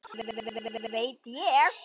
Ekkert veit ég.